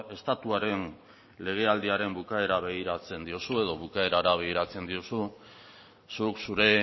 estatuaren legealdiaren bukaerari begiratzen diozu zuk zure